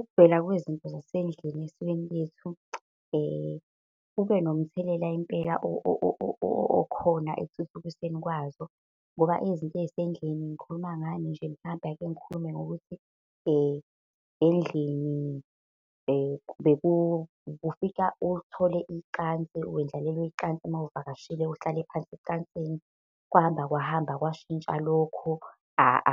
Ukuvela kwezinto zasendlini esikweni lethu kubenomthelela impela okhona ekuthuthukisweni kwazo. Ngoba izinto ey'sendlini ngikhuluma ngani nje mhlampe ake ngikhulume ngokuthi endlini bekufika uthole icansi, wendlalelwe icansi mawuvakashile, uhlale phansi ecansini. Kwahamba, kwahamba, kwashintsha lokho